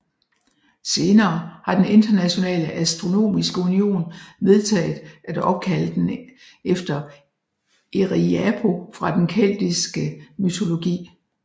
Senere har den Internationale Astronomiske Union vedtaget at opkalde den efter Erriapo fra den keltiske mytologi